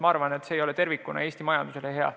Ma arvan, et see ei ole tervikuna Eesti majandusele hea.